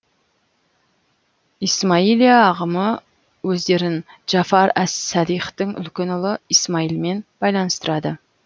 исмаилия ағымы өздерін джафар әс садиқтың үлкен ұлы исмаилмен байланыстырады